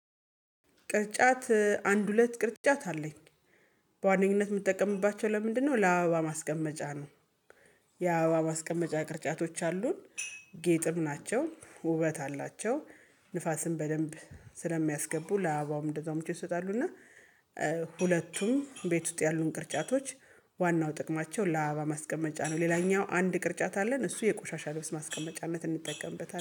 ቅርጫት፣ አንድ ሁለት ቅርጫት አለኝ። በዋነኝነት የምትጠቀምባቸው ለምንድነው? ለአበባ ማስቀመጫ ነው። የአበባ ማስቀመጫ ቅርጫቶች አሉን፣ ጌጥም ናቸው፣ ውበት አላቸው። ንፋስን በደንብ ስለሚያስገቡ ለአበባውም እንደዛውም ምቾት ይሰጣሉ፣ እና ሁለቱም ቤት ውስጥ ያሉን ቅርጫቶች ዋናው ጥቅማቸው ለአበባ ማስቀመጫ ነው፤ ሌላኛው አንድ ቅርጫት አለን፣ እሱን ለቆሻሻ ልብስ ማስቀመጫነት እንጠቀምበታለን።